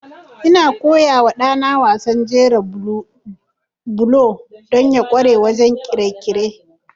Ina koya wa ɗana wasan jera bulo don ya ƙware wajen ƙirƙire-ƙirƙire.